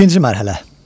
İkinci mərhələ.